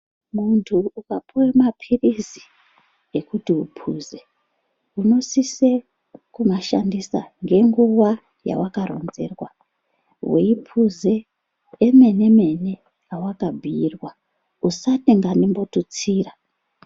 Muntu ukapuwa mapirizi ekuti upuze unosise kumashandisa ngenguwa yawakaronzerwa. Weipuze emene mene awakabhiirwa. Usati ngandimbotutsira.